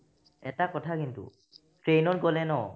এটা কথা কিন্তু train ত গ'লে ন